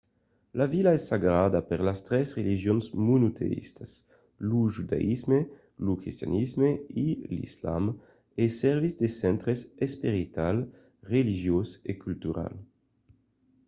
la vila es sagrada per las tres religions monoteïstas - lo judaïsme lo cristianisme e l'islam e servís de centre esperital religiós e cultural